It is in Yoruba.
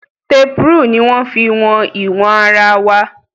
Tape rule ní wọ́n fí wọn ìwọ̀n ara wa.